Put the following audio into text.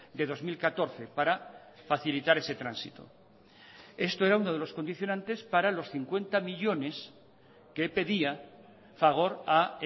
de dos mil catorce para facilitar ese tránsito esto era uno de los condicionantes para los cincuenta millónes que pedía fagor a